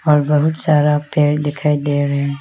और बहुत सारा पेड़ दिखाई दे रहे है।